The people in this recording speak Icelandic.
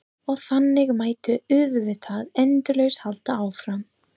Og þannig mætti auðvitað endalaust halda áfram.